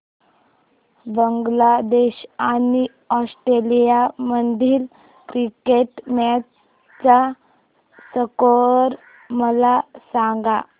बांगलादेश आणि ऑस्ट्रेलिया मधील cricket match चा स्कोअर मला सांगा